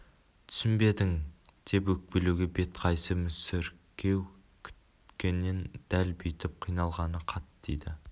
түсінбедің деп өкпелеуге бет қайсы мүсіркеу күткенмен дәл бүйтіп қиналғаны қатты тиді